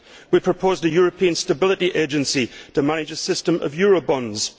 We proposed a European Stability Agency to manage a system of eurobonds.